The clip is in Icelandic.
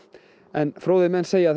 en fróðir menn segja að